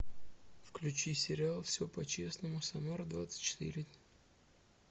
включи сериал все по честному самара двадцать четыре